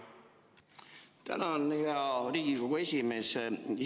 Tänan, hea Riigikogu esimees!